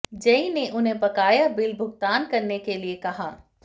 JEE ने उन्हें बकाया बिल भुगतान करने के लिए कहा